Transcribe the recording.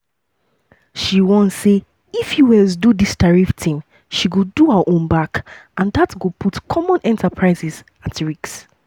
she warn say if us do dis tariff tin she go do her own back and dat go "put common enterprises at risk".